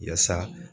Yaasa